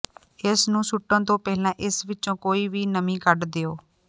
ਇਸ ਨੂੰ ਸੁੱਟਣ ਤੋਂ ਪਹਿਲਾਂ ਇਸ ਵਿੱਚੋਂ ਕੋਈ ਵੀ ਨਮੀ ਕੱਢ ਦਿਓ